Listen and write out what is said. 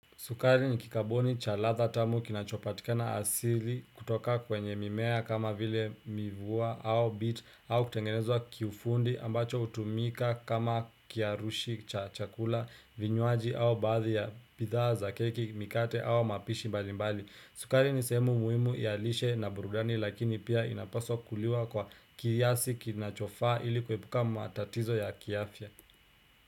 Sukari ni kikaboni cha ladha tamu kinachopatikana asili kutoka kwenye mimea kama vile mivuwa au bit au kutengenezwa kiufundi ambacho hutumika kama kiarushi cha chakula vinywaji au baadhi ya bidhaa za keki mikate au mapishi mbali mbali. Sukari ni sehemu muhimu ya lishe na burudani lakini pia inapaswa kukuliwa kwa kiasi kinachofaa ili kuepuka matatizo ya kiafya.